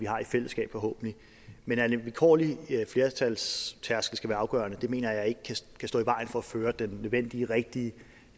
har i fællesskab men at en vilkårlig flertalstærskel afgørende mener jeg ikke kan stå i vejen for at føre den nødvendige og rigtige